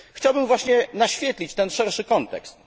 Chciałbym właśnie naświetlić ten szerszy kontekst.